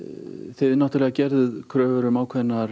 þið náttúrulega gerðuð kröfur um ákveðnar